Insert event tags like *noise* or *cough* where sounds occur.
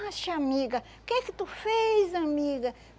*unintelligible* amiga, que é que tu fez, amiga?